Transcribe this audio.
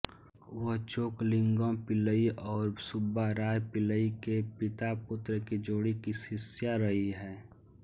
वह चोकलिंगम पिल्लई और सुब्बाराया पिल्लई के पितापुत्र की जोड़ी की शिष्या रही हैं